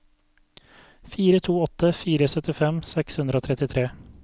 fire to åtte fire syttifem seks hundre og trettitre